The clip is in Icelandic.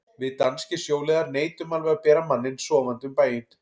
Við danskir sjóliðar neitum alveg að bera manninn sofandi um bæinn.